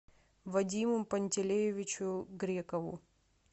вадиму пантелеевичу грекову